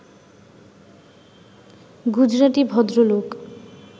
গুজরাটি ভদ্রলোক